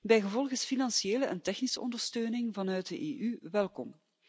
Bijgevolg is financiële en technische ondersteuning vanuit de EU welkom.